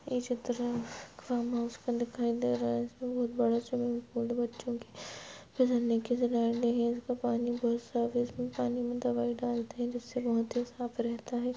यह चित्र farm house का दिखाई दे रहा है इसमे बहुत बड़ा स्विमिंग पूल बच्चो के इसमे पानी दवाई डालते हैं जिससे बहुत ही साफ रहता है।